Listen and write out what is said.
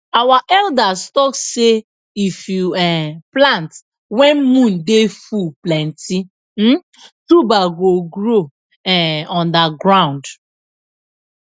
our elders talk sey if you um plant when moon dey full plenty um tuber go grow um under ground